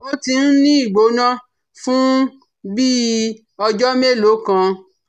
Ó ti ń ní ìgbóná fún bí i ọjọ́ mélòó kan